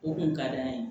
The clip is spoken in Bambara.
O kun ka d'an ye